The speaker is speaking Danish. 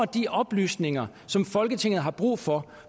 de oplysninger som folketinget har brug for